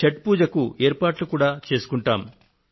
ఛఠ్ పూజకు ఏర్పాట్లు కూడా చేసుకొంటాము